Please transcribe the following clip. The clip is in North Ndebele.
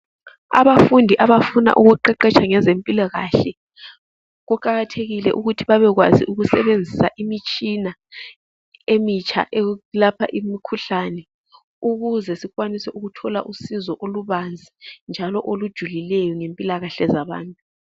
Abafundi abafuna ukuqeqesha ngezempilakahle kuqakathekile bebekwazi ukusebenza ngezemitshina emitsha eyelapha imikhuhlane ukuze sikwanise ukuthola usizo olubanzi njalo olujulileyo ngempilakahle zabantu